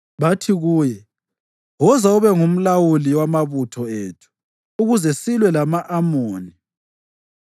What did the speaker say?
Bathi kuye, “Woza ube ngumlawuli wamabutho ethu ukuze silwe lama-Amoni.”